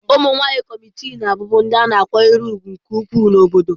Ụmụ nwanyị kọmitii na-abụbu ndị a na-akwanyere ùgwù nke ukwuu n'obodo.